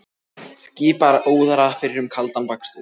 Skipar óðara fyrir um kaldan bakstur.